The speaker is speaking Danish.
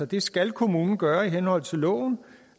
det skal kommunen gøre i henhold til loven